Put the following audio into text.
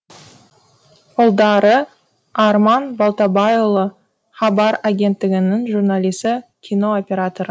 ұлдары арман балтабайұлы хабар агенттігінің журналисі кино операторы